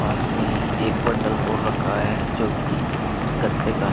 पास में ही एक बंडल और रखा है जो कि गत्ते का है।